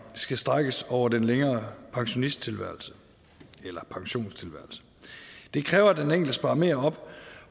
skal strækkes over en længere pensionstilværelse pensionstilværelse det kræver at den enkelte sparer mere op